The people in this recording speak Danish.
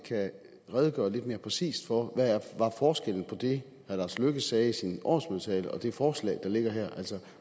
kan redegøre lidt mere præcist for hvad forskellen er på det herre lars løkke rasmussen sagde i sin årsmødetale og det forslag der ligger her